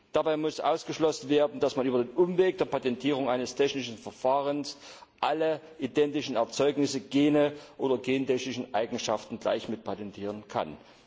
Dabei muss ausgeschlossen werden, dass man über den Umweg der Patentierung eines technischen Verfahrens alle identischen Erzeugnisse, Gene oder gentechnischen Eigenschaften gleich mitpatentieren kann.